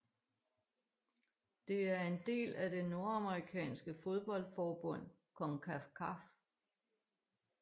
Det er en del af det nordamerikanske fodboldforbund CONCACAF